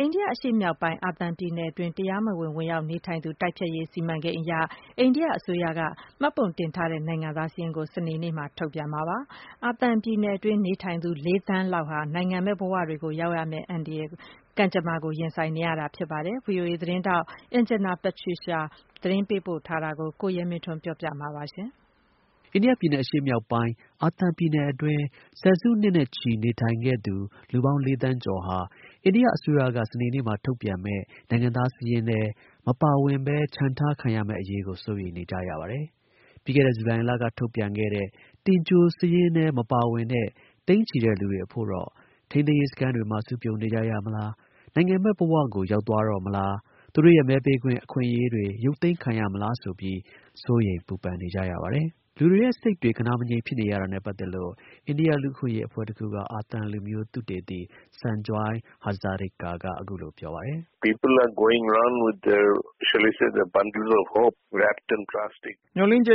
အိန္ဒိယ အရှေ့မြောက်ပိုင်း အာသံပြည်နယ်အတွင်း တရားမဝင် ဝင်ရောက်နေထိုင်သူ တိုက်ဖျက်ရေးအရ အိန္ဒိယ အစိုးရရဲ့ စီမံကိန်းအရ မှတ်ပုံတင်ထားတဲ့ နိုင်ငံသား စာရင်းကို စနေနေ့မှာ ထုတ်ပြန်မှာ ဖြစ်ပါတယ်။ အာသံပြည်နယ်တွင်း နေထိုင်သူ ၄ သန်းလောက်ဟာ နိုင်ငံမဲ့ ဘဝတွေကို ရောက်ရှိရမယ့် ကံကြမ္မာကို ရင်ဆိုင်နေရပါတယ်။ ဗွီအိုအေ သတင်းထောက် Anjana Pasricha သတင်းပေးပို့ထားတာကို ကိုရဲမင်းထွန်းက တင်ပြပေးပါမယ်။ အိန္ဒိယပြည်နယ် အရှေ့မြောက်ပိုင်း အာသံ ပြည်နယ်အတွင်း ဆယ်စုနှစ်နဲ့ချီ နေထိုင်ခဲ့သူ လူပေါင်း ၄ သန်းကျော်ဟာ အိန္ဒိယ အစိုးရက စနေနေ့မှာ ထုတ်ပြန်မယ့် နိုင်ငံသား စာရင်းထဲ မပါဝင်ဘဲ ချန်ထားခံရမယ့် အရေးကို စိုးရိမ်နေကြရပါတယ်။ ပြီးခဲ့တဲ့ ဇူလိုင်လက ထုတ်ပြန်ခဲ့တဲ့ တင်ကြို စာရင်းထဲ မပါဝင်တဲ့ သိန်းချီတဲ့ လူတွေအဖို့တော့ ထိန်းသိမ်းရေး စခန်းတွေမှာ စုပြုံနေကြရမလား၊နိုင်ငံမဲ့ ဘဝတွေကိုဆီကိုပဲ ရောက်သွားတော့ မလား၊ သူတို့ရဲ့ မဲပေးခွင့် အခွင့်အရေးတွေ ရုပ်သိမ်းခံရမလား ဆိုပြီး သူတို့ရဲ့ ကံကြမ္မာကို စောင့်မျှော်နေကြရပြီး စိတ်ပူပန်နေကြရပါတယ်။ လူတွေရဲ့ စိတ်တွေ ဂဏှာမငြိမ်ဖြစ်နေရတာနဲ့ ပတ်သက်လို့ အိန္ဒိယ လူ့အခွင့်အရေးအဖွဲ့တစ်ဖွဲ့က အာသံလူမျိုး သုတေသီ Sanjoy Hazarika က အခုလို ပြောပါတယ်။ “မျှော်လင့်ချက်